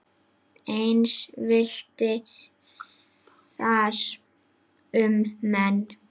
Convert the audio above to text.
Eins villti þar um menn.